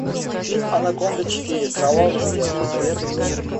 фильм анаконда четыре кровавый след посоветуй мне